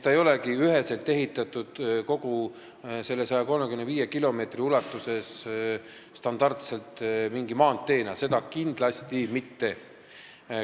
See ei ole kogu selle 135 kilomeetri ulatuses ehitatud standardselt mingi maanteena, seda kindlasti mitte.